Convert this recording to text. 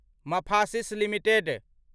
Mphasis limited